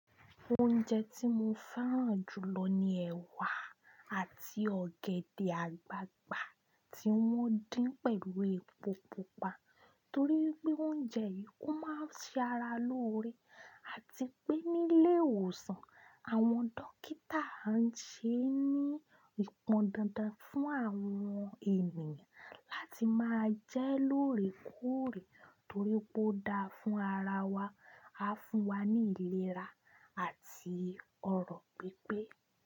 Oúnjẹ tí mo fẹ́ràn jù lọ ni ẹ̀wà àti ọ̀gẹ̀dẹ̀ àgbagbà tí wọ́n dín pẹ̀lú epo pupa torí pé oúnjẹ yìí máa ń ṣe ara lóore àti pé nílé ìwòsàn, àwọn dókítà á ń ṣe ní ìpọn dandan fún àwọn ènìyàn láti máa jẹ lóore kóòrè torí pé ó dáa fún ara wa, á fún wa ní ìlera àti ọrọ̀ pípé.